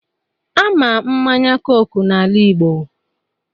Ama mmanya coke n'ala Igbo